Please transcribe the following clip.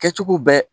Kɛcogo bɛ